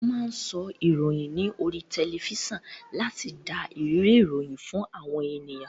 Wón máa ń sọ ìròyìn ní oríi tẹlifísàn láti dá ìrírí ìròyìn fún àwọn ènìyàn